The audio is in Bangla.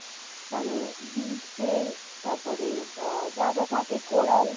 মানে beach এ তারপর আ~ যা যা থাকে কোরাল